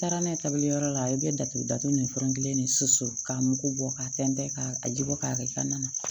Taara n'a ye kabiyɔrɔ la i bɛ datugu datugu ni fɛn kelen de susu k'a mugu bɔ ka tɛntɛn ka a ji bɔ k'a kɛ i ka na na